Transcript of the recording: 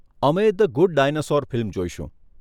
અમે 'the good dinosaur' film જોઈશું.